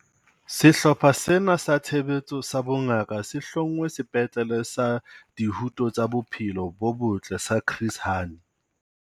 Sehlopha sena sa Tshebetso sa Bongaka se hlongwe Sepetlele sa Dihuto tsa Bophelo bo Botle sa Chris Hani.